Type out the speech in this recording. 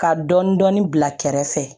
Ka dɔɔnin dɔɔnin dɔɔnin bila kɛrɛfɛ